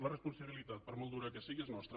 la responsabilitat per molt dura que sigui és nostra